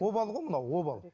обал ғой мынау обал